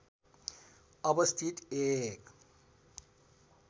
अवस्थित एक